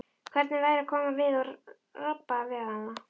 Hvernig væri að koma við og rabba við hana?